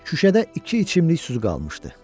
Xüşədə iki içimlik su qalmışdı.